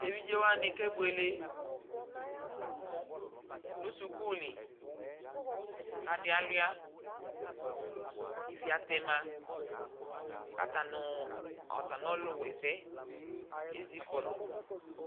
Tevidzewaɲɩ kebuele ɲu sukuulɩ kadialʊa kɩvia tɛma kataɲʊ ɔlʊwɛsɛ ezikɔlʊ